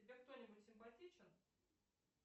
тебе кто нибудь симпатичен